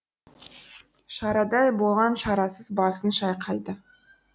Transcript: шарадай болған шарасыз басын шайқайды